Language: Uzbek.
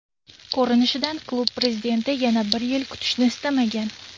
Ko‘rinishidan klub prezidenti yana bir yil kutishni istamagan.